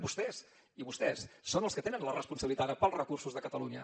vostès i vostès són els que tenen la responsabilitat ara pels recursos de catalunya